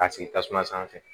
K'a sigi tasuma sanfɛ